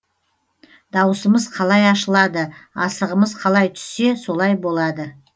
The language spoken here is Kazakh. дауысымыз қалай ашылады асығымыз қалай түссе солай болады